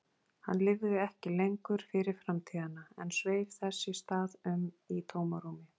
Hann lifði ekki lengur fyrir framtíðina en sveif þess í stað um í tómarúmi.